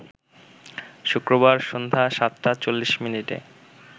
শুক্রবার সন্ধ্যা ৭ টা ৪০ মিনিটে